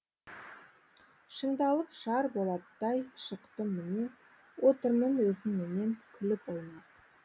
шыңдалып шар болаттай шықтым міне отырмын өзіңменен күліп ойнап